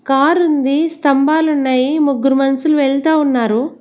Car ఉంది స్తంభాలు ఉన్నాయి ముగ్గురు మనుషులు వెళ్తా ఉన్నారు.